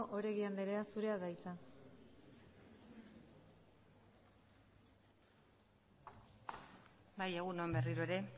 oregi andrea zurea da hitza bai egun on berriro ere